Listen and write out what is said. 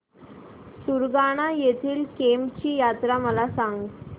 सुरगाणा येथील केम्ब ची यात्रा मला सांग